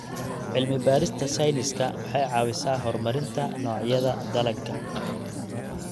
Cilmi-baarista sayniska waxay caawisaa horumarinta noocyada dalagga.